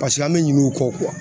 Paseke an bɛ ɲin'u kɔ